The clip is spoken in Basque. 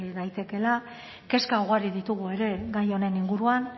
daitekeela kezka ugari ditugu ere gai honen inguruan